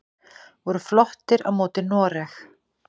Voru flottir á móti noreg!